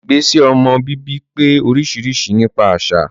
Ìgbésẹ̀ ọmọ bíbí pé oríṣiríṣi nípa àṣà